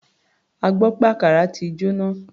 A gbọ́ pé àkàrà ti jóná.